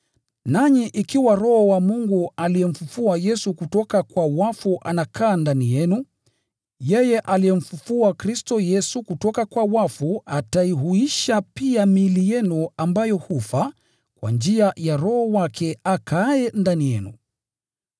Nanyi ikiwa Roho wa Mungu aliyemfufua Yesu kutoka kwa wafu anakaa ndani yenu, yeye aliyemfufua Kristo Yesu kutoka kwa wafu ataihuisha pia miili yenu ambayo hufa, kwa njia ya Roho wake akaaye ndani yenu.